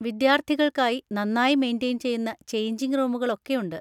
വിദ്യാർത്ഥികൾക്കായി നന്നായി മെയ്‌ന്‍റയ്ൻ ചെയ്യുന്ന ചെയ്ഞ്ചിങ് റൂമുകൾ ഒക്കെയുണ്ട്.